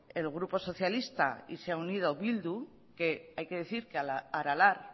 el grupo socialista y se ha unido bildu que hay que decir que a aralar